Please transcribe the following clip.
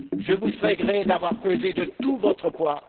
Je vous sais gré d'avoir pesé de tout votre poids.